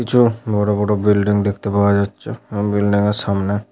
কিছু বড় বড় বিল্ডিং দেখতে পাওয়া যাচ্ছে । এবং বিল্ডিং - এর সামনে --